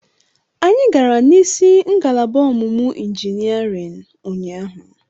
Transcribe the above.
Anyị gara n'isi ngalaba ọmụmụ injiniarịn ụnyaahụ.